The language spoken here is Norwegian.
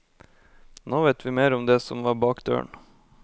Nå vet vi mer om det som var bak døren.